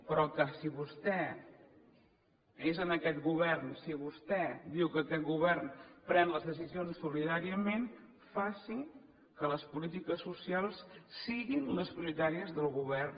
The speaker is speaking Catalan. però que si vostè és en aquest govern si vostè diu que aquest govern pren les decisions solidàriament faci que les polítiques socials siguin les prioritàries del govern